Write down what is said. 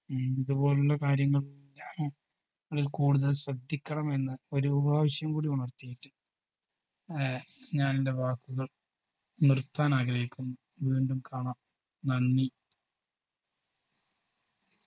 ഉം ഇതു പോലുള്ള കാര്യങ്ങൾ കൂടുതൽ ശ്രദ്ധിക്കണമെന്ന് ഒരു പ്രാവശ്യം കൂടി ഉണർത്തിയിറ്റ് ഏർ ഞാനെൻറെ വാക്കുകൾ നിർത്താൻ ആഗ്രഹിക്കുന്നു വീണ്ടും കാണാം നന്ദി